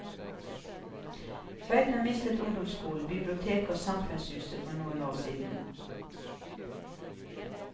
Tveita mistet ungdomsskolen, biblioteket og samfunnshuset for noen år siden.